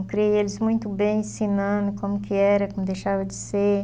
Eu criei eles muito bem, ensinando como que era, como deixava de ser.